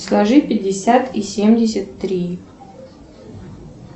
сложи пятьдесят и семьдесят три